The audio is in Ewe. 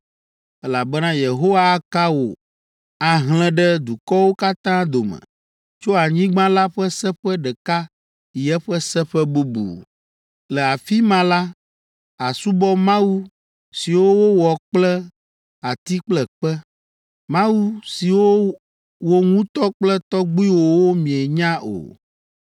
elabena Yehowa aka wò ahlẽ ɖe dukɔwo katã dome tso anyigba la ƒe seƒe ɖeka yi eƒe seƒe bubu. Le afi ma la, àsubɔ mawu siwo wowɔ kple ati kple kpe, mawu siwo wò ŋutɔ kple tɔgbuiwòwo mienya o!